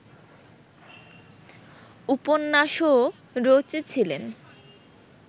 উপন্যাসও রচেছিলেন